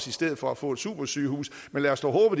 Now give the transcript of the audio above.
i stedet for at få et supersygehus men lad os dog